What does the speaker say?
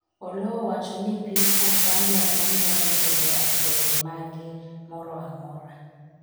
Oloo owacho ni Piny Tanzania duong' moingo jo akwede mage moro amora